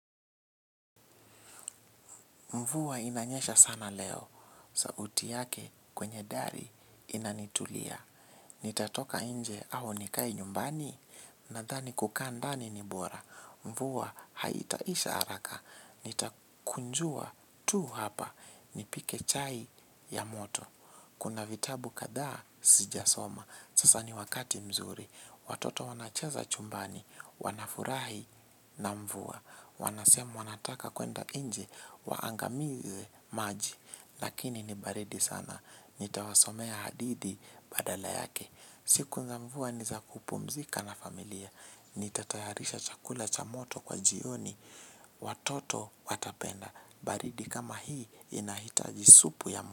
Mvua inanyesha sana leo. Sauti yake kwenye dari inanitulia. Nitatoka nje au nikae nyumbani? Nadhani kukaa ndani ni bora. Mvua haitaisha haraka. Nitakunjua tu hapa. Nipike chai ya moto. Kuna vitabu kadha sijasoma. Sasa ni wakati mzuri. Watoto wanachaza chumbani. Wanafurahi na mvuwa. Wanasema wanataka kuenda nje. Waangamize maji. Lakini ni baridi sana. Nitawasomea hadithi badala yake. Siku za mvua ni za kupumzika na familia. Nitatayarisha chakula cha moto kwa jioni. Watoto watapenda. Baridi kama hii inahitaji supu ya.